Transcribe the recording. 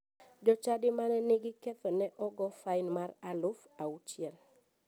Jochadi mane nigi ketho ne ogo fain mar aluf auchiel.